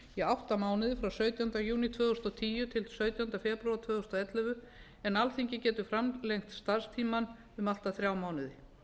í átta mánuði frá sautjánda júní tvö þúsund og tíu til sautjándu febrúar tvö þúsund og ellefu en alþingi getur framlengt starfstímann um allt að þrjá mánuði